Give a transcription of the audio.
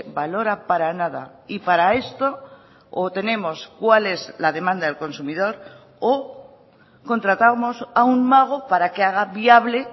valora para nada y para esto o tenemos cuál es la demanda del consumidor o contratamos a un mago para que haga viable